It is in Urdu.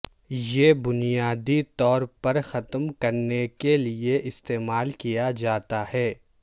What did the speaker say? یہ بنیادی طور پر ختم کرنے کے لئے استعمال کیا جاتا ہے